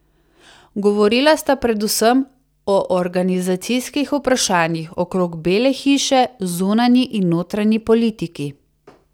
Govorila sta predvsem o organizacijskih vprašanjih okrog Bele hiše, zunanji in notranji politiki.